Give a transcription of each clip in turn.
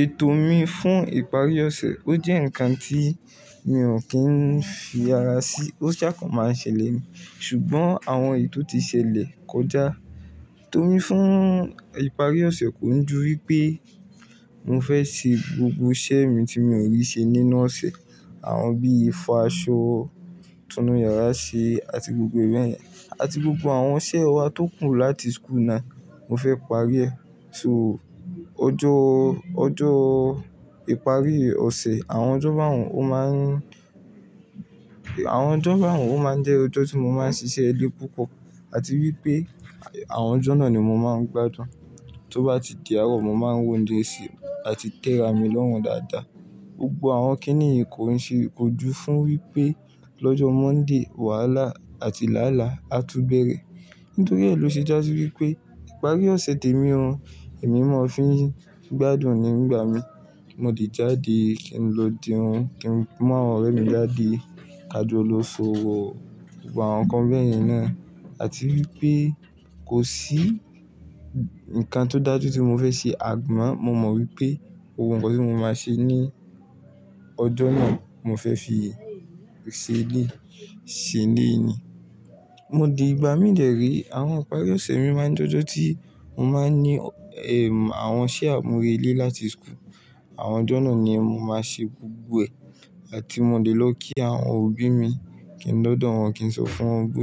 Ètò mi fún ìparí ọ̀sẹ̀, ó jẹ́ ǹkan tí mi ò kí ń fi ara sí, ó ṣàkan máa n ṣẹlẹ̀ ni. Ṣùgbọ́n àwọn ètò ti ṣẹlẹ̀ kọjá. E tòmi fún ìparí ọ̀sẹ̀ kò ń ju wípé mo fẹ́ ṣe gbogbo iṣẹ́ mi tí mi ò rí ṣe nínú ọ̀sẹ̀. Àwọn bíi fọ aṣọ, tún nu yàrá ṣe àti gbogbo béyẹn àti gbogbo àwọn iṣẹ́ wa tó kù láti school náà, mo fẹ́ parí ẹ. So, ọjọ́, ọjọ́ ìparí ọ̀sẹ̀, àwọn ọjọ́ b'àwọ́n, ó máa ń, àwọn ọjọ́ b'àwọn ó máa ń jẹ́ ọjọ́ tí mo máa ń ṣiṣẹ́ ilẹ́ púpọ̀. Àti wípé àwọn ọjọ́ náà ni mo máa ń gbádùn. Tó bá ti di àárọ̀, mo máa ń wo njé ṣe àti tẹ́ra mi lọ́run dáadáa. Gbogbo àwọn kíníì yi kò ń ṣe kojú fún wípé lọ́jọ́ Monday wàhálà àti làálàá á tún bẹ̀rẹ̀. Nítorí ẹ lò ṣe jási wípé ìparí ọ̀sẹ̀ tèmi o, èmi mọ̀ fi gbádùn ní ngbà mi. Mo lè jáde, kí n lọ jeún, kí n mú àwọn ọ̀rẹ́ mi jáde, kájú lóso gbogbo àwọn nǹkan bẹ́ẹ̀ yẹn náà. Àti wípé kò sí ǹkan tó dájú tí mo fẹ́ ṣe àmo. Mo mọ̀ wípé ohun kan tí mo máa ṣe ní ọjọ́ náà, mo fẹ́ fi ṣe lé, ṣe lé ni. Mo di ìgbà mí dẹ̀ re, àwọn ìparí ọ̀sẹ̀ mi máa ń jẹ́ ọjọ́ tí mo máa ń ní, eh, àwọn iṣẹ́ àmúrelé láti school. Àwọn ọjọ́ náà ni mo máa ṣe gbogbo ẹ. Àti mo lè lọ kí àwọn òbí mi, kí n dọ̀dọ̀ wọn, kí n sọ fún wọn pé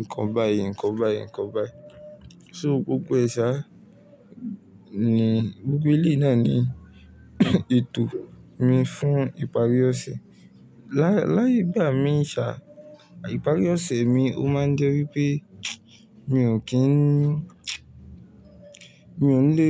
nǹkan báyìí, nǹkan báyìí, nǹkan báyìí. So gbogbo e ṣá ni gbogbo elẹ̀yi náà ni ètò mi fún ìparí ọ̀sẹ̀. Láì, láì bá mi ṣà, ìparí ọ̀sẹ̀ mi ó máa ń jẹ́ wípé mi ò kí ń, mi ò lè.